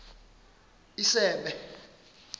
isebe